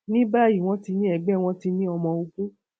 ní báyìí wọn ti ní ẹgbẹ wọn ti ní ọmọ ogun